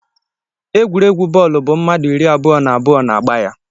Egwuregwu bọọlụ bụ mmmadụ iri abụọ na abụọ na-agba ya